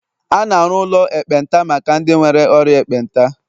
A na-arụ ụlọ ekpenta maka ndị nwere ọrịa ekpenta